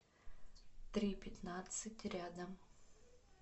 три пятнадцать рядом